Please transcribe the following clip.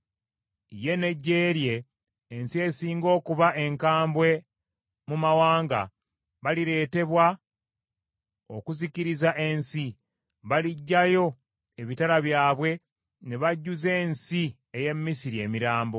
Ye n’eggye lye, ensi esinga okuba enkambwe mu mawanga, balireetebwa okuzikiriza ensi. Baligyayo ebitala byabwe ne bajjuza ensi ey’e Misiri emirambo.